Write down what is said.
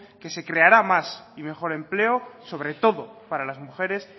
que se creará más y mejor empleo sobre todo para las mujeres